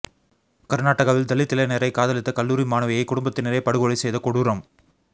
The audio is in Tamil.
கர்நாடகாவில் தலித் இளைஞரை காதலித்த கல்லூரி மாணவியை குடும்பத்தினரே படுகொலை செய்த கொடூரம்